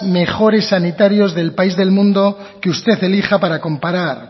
mejores sanitarios del país del mundo que usted elija para comparar